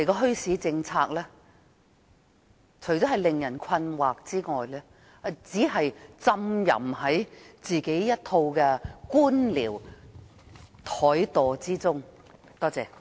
墟市政策不應令人感到困惑，而政府亦不應浸淫在一套官僚怠惰中。